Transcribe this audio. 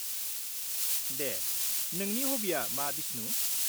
-दे, नोंनि हबिया मा बिस्नु?